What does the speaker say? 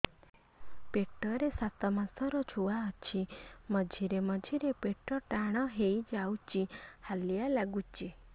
ପେଟ ରେ ସାତମାସର ଛୁଆ ଅଛି ମଝିରେ ମଝିରେ ପେଟ ଟାଣ ହେଇଯାଉଚି ହାଲିଆ ଲାଗୁଚି